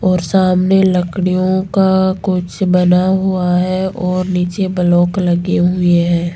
और सामने लकड़ियों का कुछ बना हुआ है और नीचे ब्लॉक लगी हुई है।